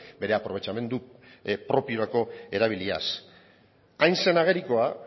bere aprobetxamendu propiorako erabiliaz hain zein agerikoa